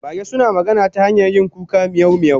Mage suna magana ta hanyar yin kuka miyau miyau